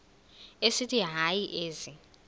esithi hayi ezi